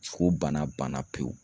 ko bana banna pewu.